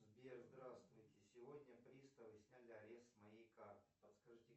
сбер здравствуйте сегодня приставы сняли арест с моей карты подскажите